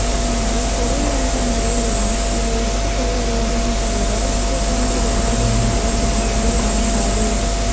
எனவே தொழில் என்ற முறையில்தான் இதை எடுத்துக் கொள்ள வேண்டுமே தவிர குர்ஆனை விற்பது என்ற குற்றத்தில் அடங்காது